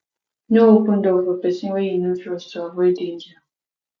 no open door for person wey you no trust to avoid danger